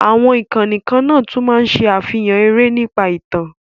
Àwọn ìkànnì kan náà tún máa ń ṣe àfihàn eré nípa ìtàn,